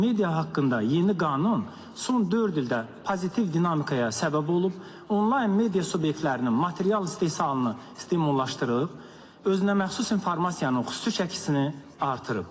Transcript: Media haqqında yeni qanun son dörd ildə pozitiv dinamikaya səbəb olub, onlayn media subyektlərinin material istehsalını stimullaşdırıb, özünəməxsus informasiyanın xüsusi çəkisini artırıb.